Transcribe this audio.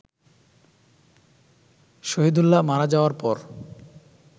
শহীদুল্লাহ মারা যাওয়ার পর